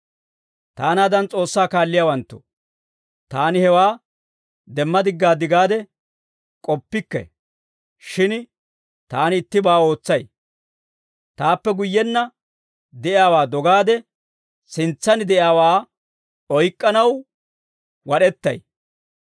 Taanaadan S'oossaa kaalliyaawanttoo, taani hewaa demma diggaad gaade k'oppikke; shin taani ittibaa ootsay; taappe guyyenna de'iyaawaa dogaade sintsan de'iyaawaa oyk'k'anaw wad'ettay.